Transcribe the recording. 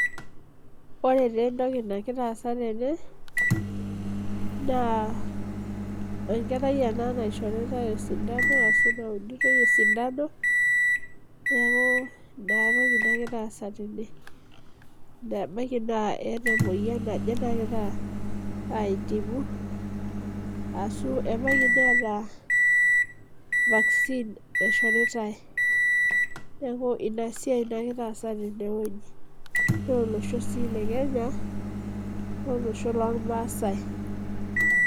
Ore taa entoki nagira aasa tene naa enkerai ena naishoritae osintano ashu nauditoi ositano niaku inatoki naake nagira aasa tene ,ebaiki naa eeta emoyian naje nagira aitibu ashu ebaiki neeta vaccine naishoritae niaku inasiai nagira aasa tenewueji , nooloshosii lekenya nolosho lormaasae.